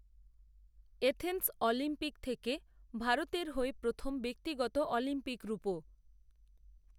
Athens Olympic থেকে ভারতের হয়ে প্রথম ব্যক্তিগত অলিম্পিক রুপো